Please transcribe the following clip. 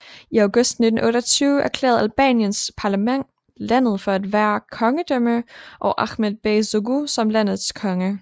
I august 1928 erklærede Albaniens parlament landet for at være et kongedømme og Ahmed Bey Zogu som landets konge